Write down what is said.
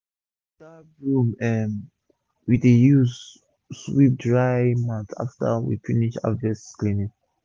na only that broom um we dey use sweep drying mat after we finish harvest cleaning